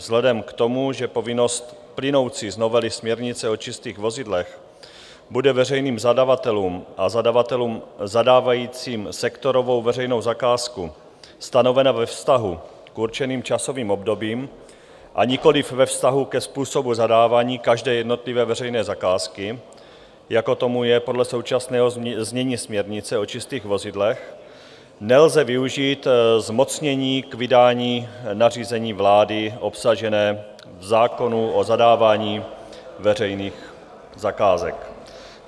Vzhledem k tomu, že povinnost plynoucí z novely směrnice o čistých vozidlech bude veřejným zadavatelům a zadavatelům zadávajícím sektorovou veřejnou zakázku stanovena ve vztahu k určeným časovým obdobím, a nikoliv ve vztahu ke způsobu zadávání každé jednotlivé veřejné zakázky, jako tomu je podle současného znění směrnice o čistých vozidlech, nelze využít zmocnění k vydání nařízení vlády, obsažené v zákoně o zadávání veřejných zakázek.